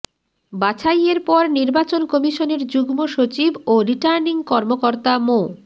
বাছাইয়ের পর নির্বাচন কমিশনের যুগ্ম সচিব ও রিটার্নিং কর্মকর্তা মো